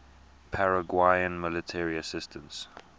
paraguayan military assistance